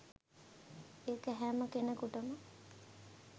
ඒක හැම කෙනෙකුටම